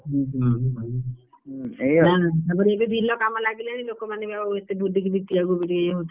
ହୁଁ ହୁଁ ହୁଁ, ଏୟା ଆଉ ତାପରେ ଏବେ ବିଲ କାମ ଲାଗିଲାଣି ଲୋକ ମାନେ ଏବେ ବୁଲିକି ବିକିବାକୁ ଇଏ ହଉଥିବେ ଆଉ।